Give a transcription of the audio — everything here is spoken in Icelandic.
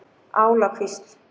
Álakvísl